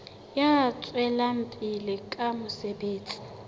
ya tswelang pele ka mosebetsi